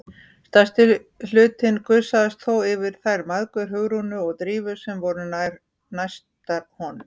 Stærsti hlutinn gusaðist þó yfir þær mæðgur, Hugrúnu og Drífu, sem voru næstar honum.